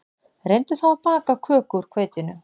Reyndu þá að baka köku úr hveitinu